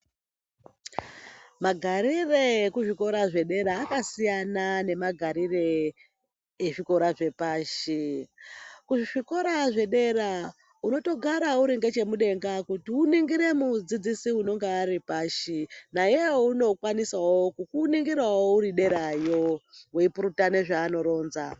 Magarire ekuzvikora zvekudera akasiyana nemagarire ezvikora zvepashi. Kuzvikora zvedera unotogara uri ngechemudenga kuti uningire mudzidzisi unenge Ari pashi nayewo unokwanisawo kukuningira uri derayo weipurutana zvanoronza.